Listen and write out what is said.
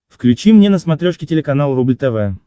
включи мне на смотрешке телеканал рубль тв